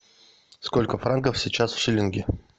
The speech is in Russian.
сколько франков сейчас в шиллинге